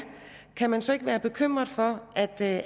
kan man så ikke være bekymret for at der